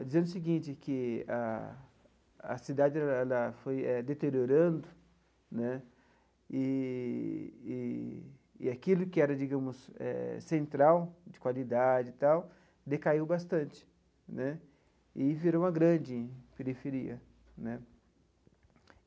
Dizendo o seguinte, que a a cidade ela foi deteriorando né, e aquilo que era, digamos, central, de qualidade e tal, decaiu bastante né, e virou uma grande periferia né.